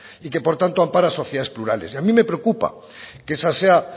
y que por tanto ampara sociedades plurales y a mí me preocupa que esa sea